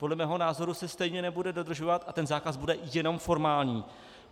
Podle mého názoru se stejně nebude dodržovat a ten zákaz bude jenom formální.